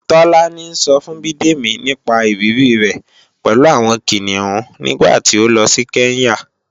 Tọ́lání ńsọ fún Bidemi nípa ìrírí rẹ̀ pẹ̀lú àwọn Kìnìún nígbàtí ó lọ sí Kenya